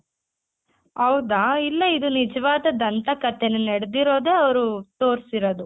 ಹೌದಾ ಇಲ್ಲ ಇದು ನಿಜ್ವಾದ ದಂತ ಕಥೆನೆ ನಡೆದಿರೋದೆ ಅವ್ರು ತೊರ್ಸಿರದು.